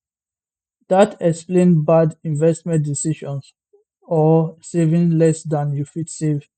dat explain bad investment decisions or saving less dan you fit save